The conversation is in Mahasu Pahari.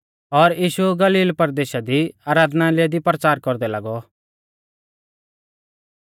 और यीशु गलील परदेशा दी आराधनालय दी परचार कौरदै लागौ